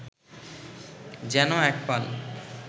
যেন এক পাল